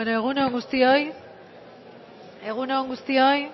bueno egun on guztioi egun on guztioi